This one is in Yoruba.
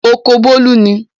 Oko Bólú ni.